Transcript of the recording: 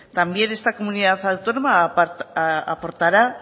también esta comunidad autónoma aportará